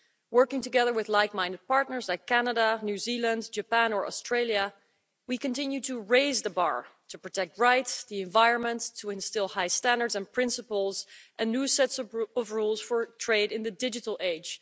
Working together with like minded partners like Canada, New Zealand, Japan or Australia, we continue to raise the bar to protect rights, the environment, to instil high standards and principles and new sets of rules for trade in the digital age.